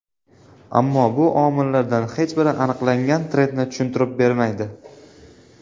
Ammo bu omillardan hech biri aniqlangan trendni tushuntirib bermaydi.